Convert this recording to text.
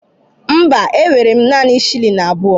Mba, enwere m naanị shilling abụọ.